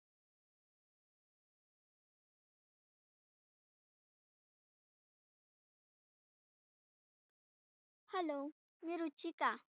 Hello मी रुचिका